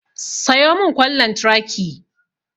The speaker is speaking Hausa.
Sayo mun kwan lantraki